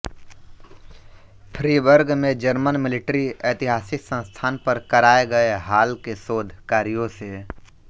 Freiburg में German military ऐतिहासिक संस्थान पर कराये गए हाल के शोध कार्यों से